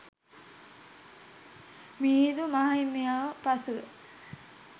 මිහිඳු මාහිමියෝ පසුව